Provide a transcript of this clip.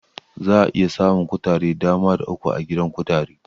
Za'a iya samun kutare Dama da uku a gidan kutare